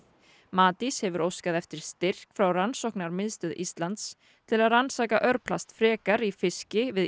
Matís hefur óskað eftir styrk frá Rannsóknarmiðstöð Íslands til að rannsaka örplast frekar í fiski við